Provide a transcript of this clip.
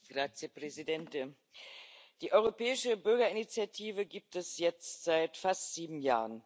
Herr Präsident! Die Europäische Bürgerinitiative gibt es jetzt seit fast sieben Jahren.